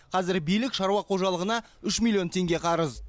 қазір билік шаруа қожалығына үш миллион теңге қарыз